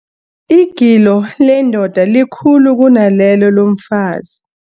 Igilo lendoda likhulu kunalelo lomfazi.